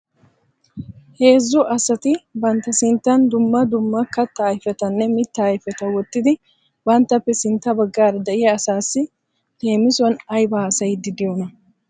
Heezzu asati bantta sintta dumma dumma katta ayfetanne mitta ayfeta wottidi banttappe sintta baggaara de'iya asassi leemisuwan aybba haassayidi de'iyoona?